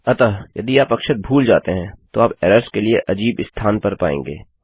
अतः यदि आप अक्षर भूल जाते हैं तो आप एरर्स के लिए अजीब स्थान पर पाएँगे